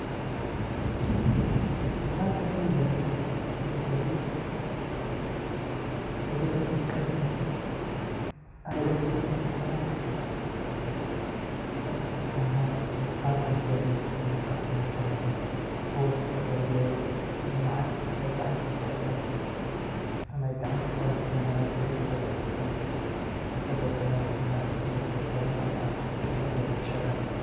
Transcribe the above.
Isticmalka sheygaan wuxu iskubadalay, mudo ladib marki ay dadki badana ay isticmalan, qaab bank ama qaab talephona kuwas oo kador biday in lacagtu ay gacanta kugabtan, ama ay gacanta kuxaystan, ama jebabkodha ay qashadan, waxay kador bidan ini talephonada ama jebabkodh ay qashadan.